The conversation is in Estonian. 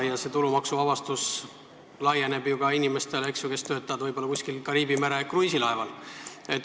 Ja see tulumaksuvabastus laieneb ka ju inimestele, kes töötavad kuskil Kariibi mere kruiisilaeval.